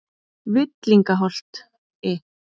Villingaholti